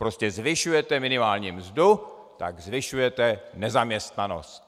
Prostě zvyšujete minimální mzdu, tak zvyšujete nezaměstnanost.